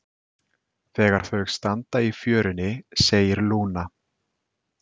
Þegar þau standa í fjörunni segir Lúna